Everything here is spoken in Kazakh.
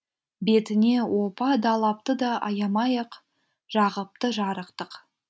бетіне опа далапты да аямай ақ жағыпты жарықтық